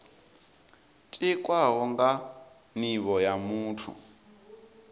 tikwaho nga nivho ya muthu